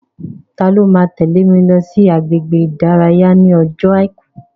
Ta ló máa tẹ́lè mi lọ sí agbègbè ìdárayá ní ọjọ́ àìkú?